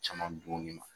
Caman dun nin ma